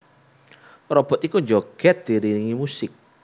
Robot iki njogèd diiringi musik